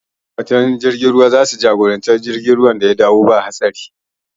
Ma'aikatan jirgin ruwa za su jagori jirgin ya dawo ba haɗari